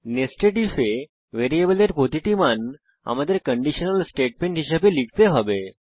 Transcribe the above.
nested ইফে ভ্যারিয়েবলের প্রতিটি মান আমাদের কন্ডিশনাল স্টেটমেন্ট হিসাবে লিখতে হবে